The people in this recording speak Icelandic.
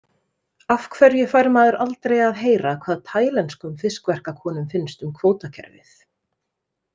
Af hverju fær maður aldrei að heyra hvað tælenskum fiskverkakonum finnst um kvótakerfið?